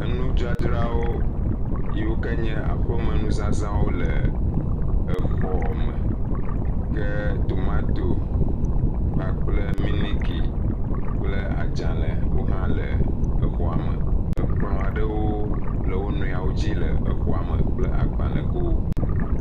Nudzadzrawo yiwo ke nye aƒeme nuzazawo le exɔ me ke tomatosi kpakple miniki kple adzale wo hã le exɔa me. Ekplɔ aɖewo le wo nɔewo dzi le exɔa me kple agbalegowo.